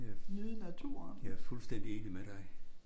Jeg er jeg er fuldstændigt enig med dig